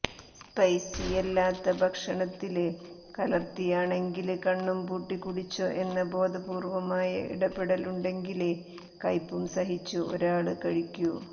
സ്പൈസിയല്ലാത്ത ഭക്ഷണത്തില് കലര്ത്തിയാണെങ്കില് കണ്ണും പൂട്ടി കുടിച്ചോ എന്ന ബോധപൂര്വ്വമായ ഇടപെടലുണ്ടെങ്കിലേ കയ്പും സഹിച്ച് ഒരാള് കഴിക്കൂ